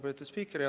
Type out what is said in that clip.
Lugupeetud spiiker!